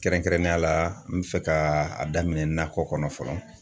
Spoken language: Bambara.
Kɛrɛnkɛrɛnnenya la , n bɛ fɛ ka a daminɛ nakɔ kɔnɔ fɔlɔ.